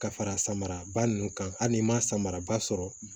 Ka fara samara ba nun kan hali n'i ma samara ba sɔrɔ